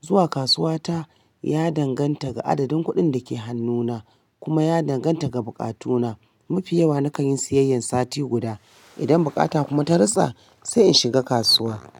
Zuwa kasuwa ta ya danganta ga adadin kuɗin da ke hannuna kuma ya danganta ga bukatuna. Mafi yawa na kan yin siyayyan sati guda. Idan bukata kuma ta rasa sai in shiga kasuwa.